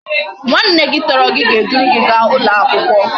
Nwa nne gi toro gi ga e duru gi ga ulo akwukwo